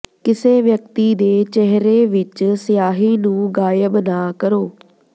ਕਿਸੇ ਵਿਅਕਤੀ ਦੇ ਚਿਹਰੇ ਵਿੱਚ ਸਿਆਹੀ ਨੂੰ ਗਾਇਬ ਨਾ ਕਰੋ